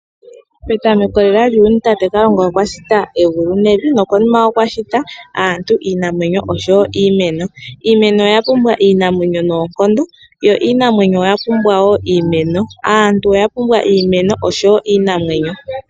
Petamo lela lyuuyuni tate kalunga okwa shita egulu nevi, nokonima okwa shita aantu, iinamwenyo, oshowo iimeno. Iimeno oya pumwa iinamwenyo noonkondo, yo iinamwenyo oya pumbwa wo iimeno. Aantu oya pumbwa iimeno, oshowo iinamwenyo.